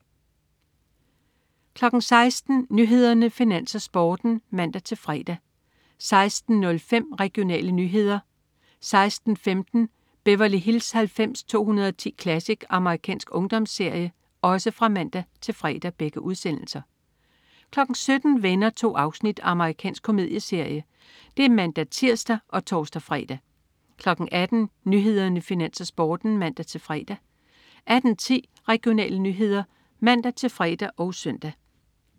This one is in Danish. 16.00 Nyhederne, Finans, Sporten (man-fre) 16.05 Regionale nyheder (man-fre) 16.15 Beverly Hills 90210 Classic. amerikansk ungdomsserie (man-fre) 17.00 Venner. 2 afsnit. Amerikansk komedieserie (man-tirs og tors-fre) 18.00 Nyhederne, Finans, Sporten (man-fre) 18.10 Regionale nyheder (man-fre og søn)